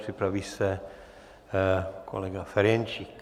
Připraví se kolega Ferjenčík.